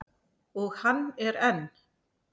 Og hann er enn.